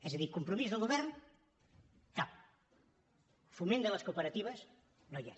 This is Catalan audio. és a dir compromís del govern cap foment de les cooperatives no hi és